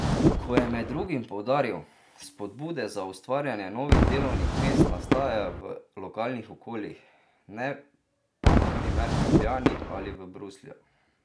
Kot je med drugim poudaril, spodbude za ustvarjanje novih delovnih mest nastajajo v lokalnih okoljih, ne pa na primer v Ljubljani ali Bruslju.